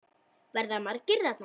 Verða margir þarna?